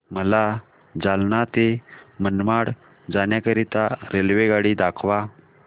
मला जालना ते मनमाड जाण्याकरीता रेल्वेगाडी दाखवा